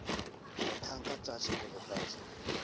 mathang ka tlase ho lefatshe